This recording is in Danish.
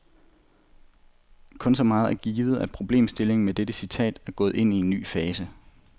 Kun så meget er givet, at problemstillingen med dette citat er gået ind i en ny fase.